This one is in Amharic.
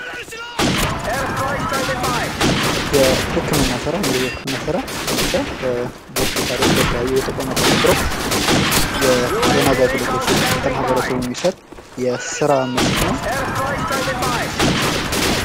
የህክምና ስራ እንግዲህ የህክምና ስራ አንድ ሰዉ በሆስፒታል ወይም በተቋማት ተቀጥሮ ለማህበረሰቡ የጤና አገልግሎት የሚሰጥ የስራ መስክ ነዉ።